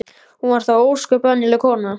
Hún var þó bara ósköp venjuleg kona.